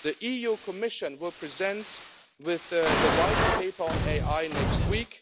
The EU Commission will present the White Paper on AI next week.